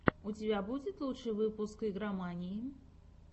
у тебя будет лучший выпуск игромании